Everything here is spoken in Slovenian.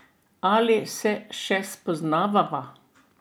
Ali se še spoznavava?